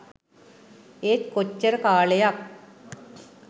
ඒත් කොච්චර කාලයක්